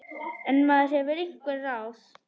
En maður hefur einhver ráð.